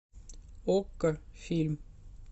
окко фильм